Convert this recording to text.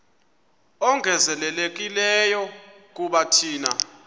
ongezelelekileyo kuba thina